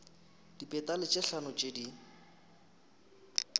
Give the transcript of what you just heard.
dipetale tše hlano tše di